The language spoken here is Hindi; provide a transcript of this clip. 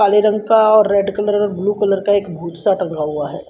काले रंग का और रेड कलर और ब्लू कलर का एक भूत सा टंगा हुआ है।